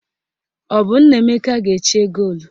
Ọ bụ Nnaemeka ga-eche goolu?